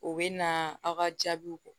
U bɛ na aw ka jaabiw